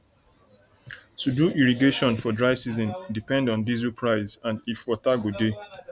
to do irrigation for dry season depend on diesel price and if water go dey